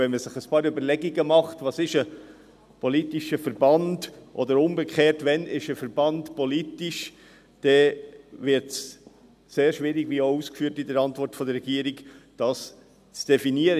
Wenn man ein paar Überlegungen dazu anstellt, was ein politischer Verband ist, oder umgekehrt, wann ein Verband politisch ist, sieht man, dass es sehr schwierig ist, dies zu definieren, wie die Regierung ausführt.